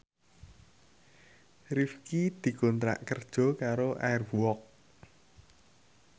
Rifqi dikontrak kerja karo Air Walk